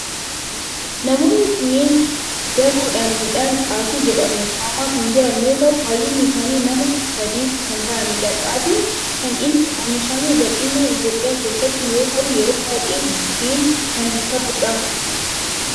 Namoonni kunneen daboodhan midhaan xaafii jedhamu haamaa kan jiran yoo ta'u baayyinni isaanii nama saddet kan ta'aanidha. Xaafin kan inni oomishamu bal'inaan Itiyoophiyaa keessatti yoo ta'u yeroo baayyee buddeen kan ta'udha.